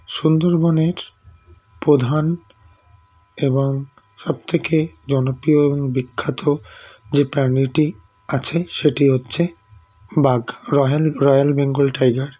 সুন্দরবনের প্রধান এবং সবথেকে জনপ্রিয় এবং বিখ্যাত যে প্রাণীটি আছে সেটি হচ্ছে বাঘ Royal Royal বেঙ্গল tiger